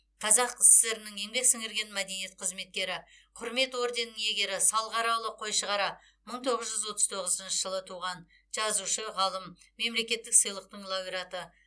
қазақ сср інің еңбек сіңірген мәдениет қызметкері құрмет орденінің иегері салғараұлы қойшығара мың тоғыз жүз отыз тоғызыншы жылы туған жазушы ғалым мемлекеттік сыйлықтың лауреаты